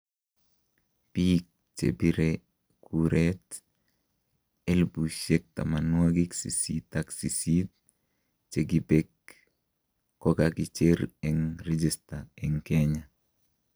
Biik chebire kureet 88,000 chekibeek kokakicher en reekista en Kenya